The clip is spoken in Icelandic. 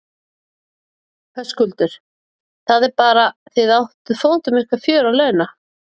Höskuldur: Það er bara, þið áttuð fótum ykkar fjör að launa?